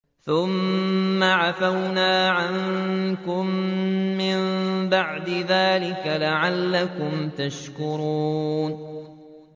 ثُمَّ عَفَوْنَا عَنكُم مِّن بَعْدِ ذَٰلِكَ لَعَلَّكُمْ تَشْكُرُونَ